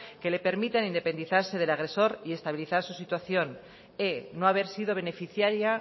que le permitan independizarse del agresor y estabilizar su situación e no haber sido beneficiaria